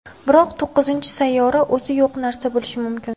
Biroq to‘qqizinchi sayyora o‘zi yo‘q narsa bo‘lishi mumkin.